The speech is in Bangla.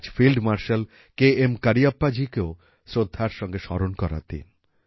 আজ ফিল্ড মার্শাল কে এম করিয়প্পাজিকেও শ্রদ্ধার সঙ্গে স্মরণ করার দিন